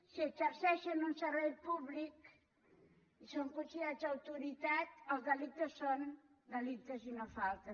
si exerceixen un servei públic i són considerats autoritat els delictes són delictes i no faltes